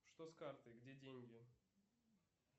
что с картой где деньги